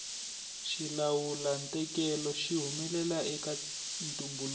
xilawulantekelo xi humelela eka ntumbuluko